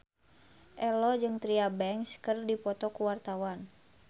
Ello jeung Tyra Banks keur dipoto ku wartawan